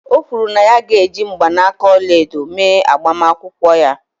O kwuru na ya ga-eji mgbanaka ọla edo mee agbamakwụkwọ ya.